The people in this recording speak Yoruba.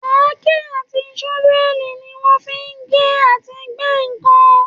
Àáké àti ṣọ́fẹ̀lì ni wọ́n fi ń gé àti gbẹ́ ǹkan